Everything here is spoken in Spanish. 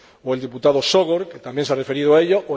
o el diputado Sógor, que también se ha referido a ello